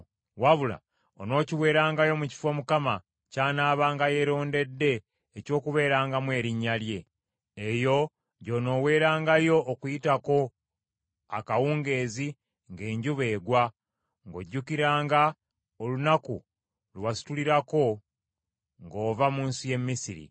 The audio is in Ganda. wabula onookiweerangayo mu kifo Mukama ky’anaabanga yeerondedde eky’okubeerangamu Erinnya lye. Eyo gy’onooweerangayo Okuyitako akawungeezi ng’enjuba egwa, ng’ojjukiranga olunaku lwe wasitulirako ng’ova mu nsi y’e Misiri.